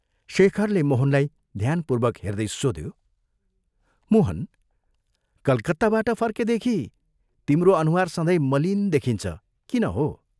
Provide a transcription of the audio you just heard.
शेखरले मोहनलाई ध्यानपूर्वक हेर्दै सोध्यो, " मोहन, कलकत्ताबाट फर्केदेखि तिम्रो अनुहार सधैँ मलिन देखिन्छ किन हो?